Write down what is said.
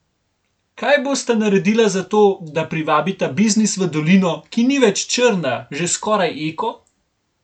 Kaj bosta naredila za to, da privabita biznis v dolino, ki ni več črna, že skoraj eko?